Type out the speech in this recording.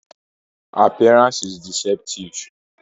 Oiho buuk’ e ká koolo bi s’upekun dá lẹ dá ma.